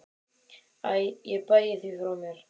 Æ ég bægi því frá mér.